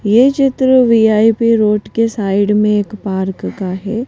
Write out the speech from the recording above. ये चित्र VIP road के साइड में एक पार्क का है।